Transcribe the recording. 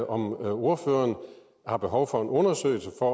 om ordføreren har behov for en undersøgelse for